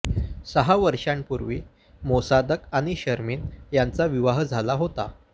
सहा वर्षांपूर्वी मोसादक आणि शर्मिन यांचा विवाह झाला होता